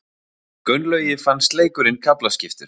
Gunnlaugi fannst leikurinn kaflaskiptur.